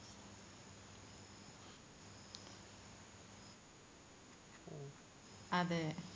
അതെ